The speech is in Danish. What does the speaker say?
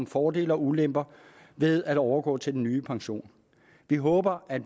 fordele og ulemper ved at overgå til den nye pension vi håber at